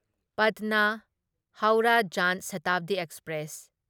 Patna Howrah Jan Shatabdi express